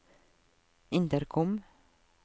intercom